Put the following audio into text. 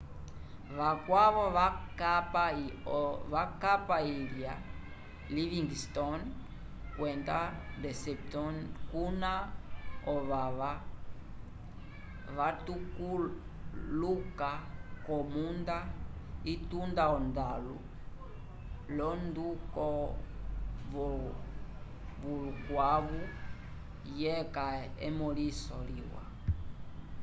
vakwavo vakapa ilha livingston kwenda deception kuna ovava vatuluka k'omunda itunda ondalu l'onduko vulkãwu yeca emõliso liwa